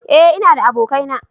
eh in na da abokanai